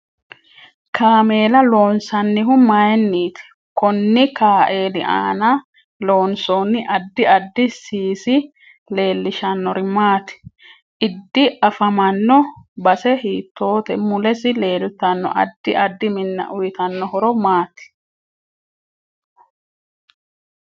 Kaameela loonsanihu mayiiniti konni kaeeli aana loonsooni addi addi siisi leelishanori maati idi afamanno base hiitoote mulesi leeltanno addi addi minna uyiitanno horo maati